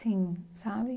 Sim, sabe?